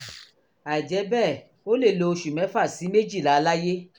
àìjẹ́ bẹ́ẹ̀ ó lè lo oṣù mẹ́fà sí méjìlá láyé